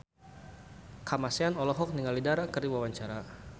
Kamasean olohok ningali Dara keur diwawancara